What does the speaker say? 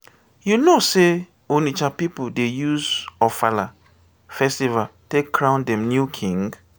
you know sey onitsha pipu dey use ofala festival take crown dem new king?